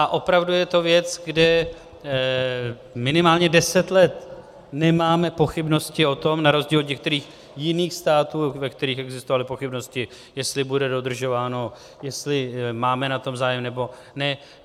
A opravdu je to věc, kde minimálně deset let nemáme pochybnosti o tom, na rozdíl od některých jiných států, ve kterých existovaly pochybnosti, jestli bude dodržováno, jestli máme na tom zájem, nebo ne...